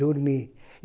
Dormi.